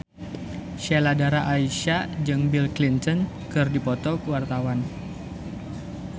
Sheila Dara Aisha jeung Bill Clinton keur dipoto ku wartawan